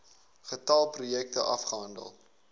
getal projekte afgehandel